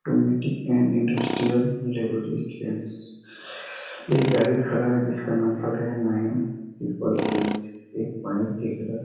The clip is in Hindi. इंडस्ट्रियल रिवोल्युशन एक गाड़ी खड़ा है जिसका नंबर है नाइन ट्रिप्पल एट एक पाइप दिख रहा है।